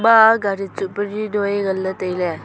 a gari tsu peri noi ngan le taile.